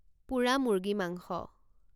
পোৰা মুৰ্গী মাংস